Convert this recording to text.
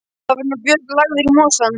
Var nú Björn lagður í mosann.